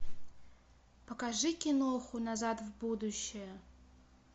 покажи киноху назад в будущее